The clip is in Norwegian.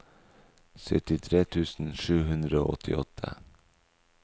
syttitre tusen sju hundre og åttiåtte